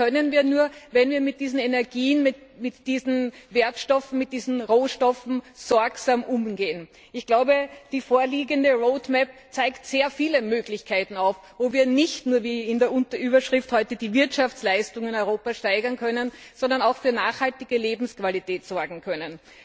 Das können wir nur, wenn wir mit diesen Energien, mit diesen Wertstoffen, mit diesen Rohstoffen sorgsam umgehen. Ich glaube, der vorliegende Energiefahrplan zeigt sehr viele Möglichkeiten auf, wo wir nicht nur wie in der Überschrift heute die Wirtschaftsleistungen in Europa steigern können, sondern auch für nachhaltige Lebensqualität sorgen können.